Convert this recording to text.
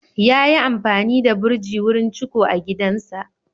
Yayi amfani da burji wurin ciko a gidansa.